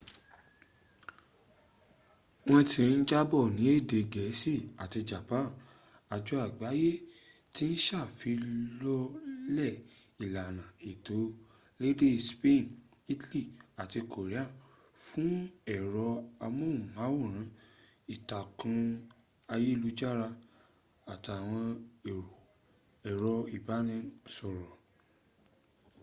wọ́n ti ń jábọ̀ ní èdè gẹ̀ẹ́sì àti japan àjọ àgbáyé ti ń sàfilọ́lẹ̀ ìlàna ètò lédè ilẹ̀ spain italy àti korea fún ẹ̀rọ amóhùnmáwòrán ìtàkù ayélujára àtàwọn ẹ̀rọ ìbáraẹnisọ̀rọ̀